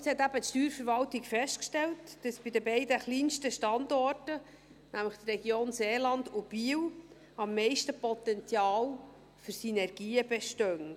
Ja, und jetzt hat die Steuerverwaltung eben festgestellt, dass bei den beiden kleinsten Standorten, nämlich der Region Seeland und Biel, am meisten Potenzial für Synergien besteht.